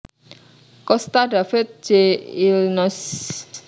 Costa David J Illinois